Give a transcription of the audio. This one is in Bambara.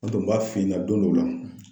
N tun b'a f'i ɲɛ don dɔw la